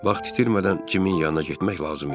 Vaxt itirmədən Cimin yanına getmək lazım idi.